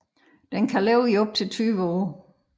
Den kan leve i op til 20 år